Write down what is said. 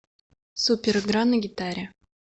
суперигра на гитаре